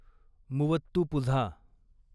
Muvattupuzha